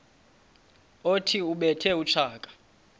othi ubethe utshaka